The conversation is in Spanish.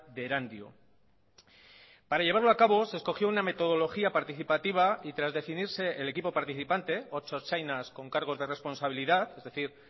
de erandio para llevarlo a cabo se escogió una metodología participativa y tras definirse el equipo participante ocho ertzainas con cargos de responsabilidad es decir